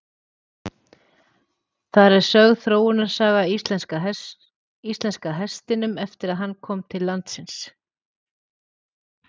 Þar er sögð þróunarsaga íslenska hestinum eftir að hann kom til landsins.